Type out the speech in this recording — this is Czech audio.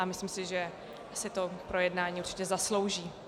A myslím si, že si to projednání určitě zaslouží.